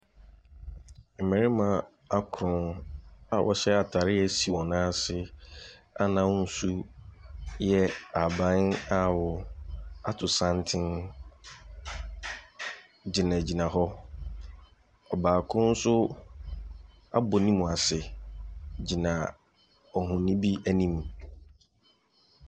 Mmarima akoron a wɔhyɛ atadeɛ a ɛsi wɔn nan ase a n'ahosuo yɛ ahaban a awoɔ ato santene gyinagyina hɔ. Ɔbaako nso abɔ ne mu ase gyina ohonin bi anim.